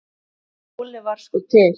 Óli var sko til.